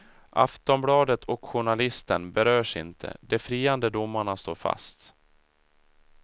Aftonbladet och journalisten berörs inte, de friande domarna står fast.